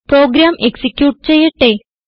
programme execute ചെയ്യട്ടെ